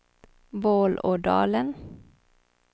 Vålådalen